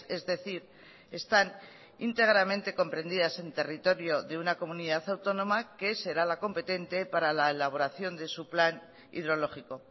es decir están íntegramente comprendidas en territorio de una comunidad autónoma que será la competente para la elaboración de su plan hidrológico